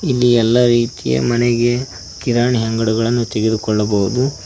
ಇಲ್ಲಿ ಎಲ್ಲಾ ರೀತಿಯ ಮನೆಗೆ ಕಿರಾಣಿ ಅಂಗಡಿಯನ್ನು ತೆಗೆದುಕೊಳ್ಳಬಹುದು.